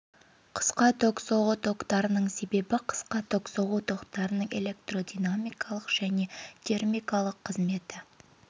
қысқа ток соғу токтарының есебі қысқа ток соғу токтарының электродинамикалық және термикалық қызметі